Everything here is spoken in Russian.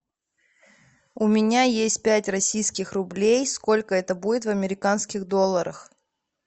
у меня есть пять российских рублей сколько это будет в американских долларах